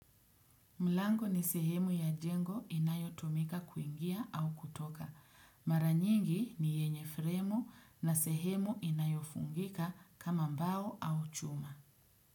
Mlango ni sehemu ya jengo inayotumika kuingia au kutoka. Maranyingi ni yenye fremu na sehemu inayofungika kama mbao au chuma.